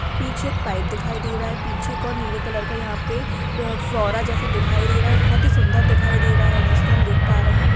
पीछे एक पाइप दिखाई दे रहा है पीछे एक और नीले कलर का यहाँ पे फव्वारा जैसा दिखाई दे रहा है बहुत ही सुन्दर दिखाई दे रहा है जिसको हम देख पा रहे हैं|